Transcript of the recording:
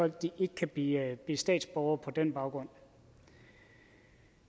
at de ikke kan blive statsborgere på den baggrund